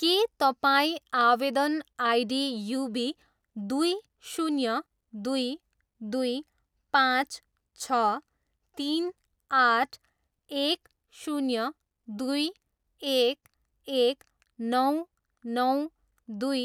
के तपाईँ आवेदन आइडी युबी दुई, शून्य, दुई, दुई, पाँच, छ, तिन, आठ, एक, शून्य, दुई, एक, एक, नौ, नौ, दुई,